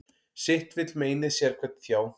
Sitt vill meinið sérhvern þjá.